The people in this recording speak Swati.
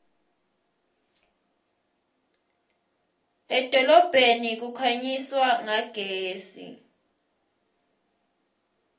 edolobheni kukhanyiswa ngagesi